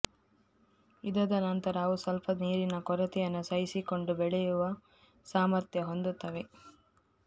ಇದಾದ ನಂತರ ಅವು ಸ್ವಲ್ಪ ನೀರಿನ ಕೊರತೆಯನ್ನು ಸಹಿಸಿಕೊಂಡು ಬೆಳೆಯುವ ಸಾಮರ್ಥ್ಯ ಹೊಂದುತ್ತವೆ